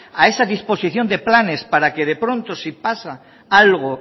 a esa disposición de planes para que de pronto si pasa algo